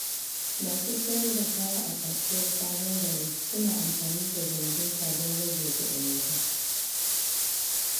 Masu sayar da kaya a Kasuwar Sabon Gari suna amfani da janareta don rage kuɗin wuta.